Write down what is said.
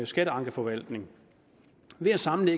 skatteankeforvaltning ved at samle